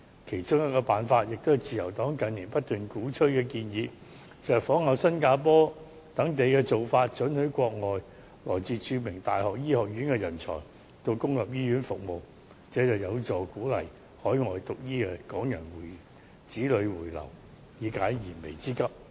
其中一個辦法，也是自由黨近年不斷鼓吹的建議，就是仿效新加坡等地的做法，准許國外來自著名大學醫學院的人才到公立醫院服務，這將有助鼓勵於海外修讀醫科的港人子女回流，以解燃眉之急。